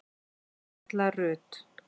Erla Rut.